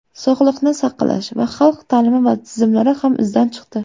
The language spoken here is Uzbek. Sog‘liqni saqlash va xalq ta’limi tizimlari ham izdan chiqdi.